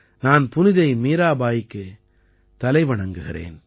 நான் புனிதை மீராபாயிக்குத் தலைவணங்குகிறேன்